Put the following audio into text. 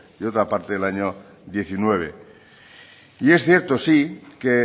y otra parte en el año dos mil diecinueve y es cierto sí que